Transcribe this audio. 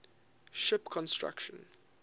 ship construction